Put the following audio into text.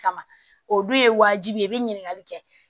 Kama o dun ye wajibi ye i be ɲininkali kɛ